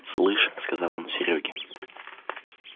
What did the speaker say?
слышь сказал он серёге